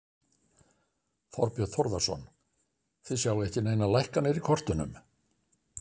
Þorbjörn Þórðarson: Þið sjáið ekki neinar lækkanir í kortunum?